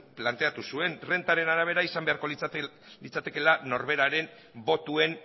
planteatu zuen errentaren arabera izan beharko litzatekeela norberaren botoen